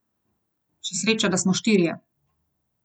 Še sreča, da smo štirje.